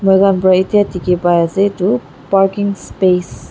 moi khan para itia dikhi pai ase itu parking space .